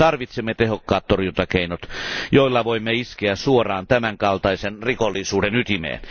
Tarvitsemme tehokkaat torjuntakeinot, joilla voimme iskeä suoraan tämän kaltaisen rikollisuuden ytimeen.